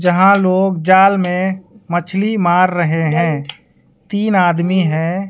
जहां लोग जाल में मछली मार रहे हैं तीन आदमी है।